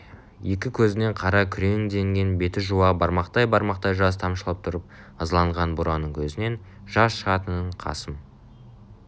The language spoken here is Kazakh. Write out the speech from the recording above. екі көзінен қара күреңденген бетін жуа бармақтай-бармақтай жас тамшылап тұр ызаланған бураның көзінен жас шығатынын қасым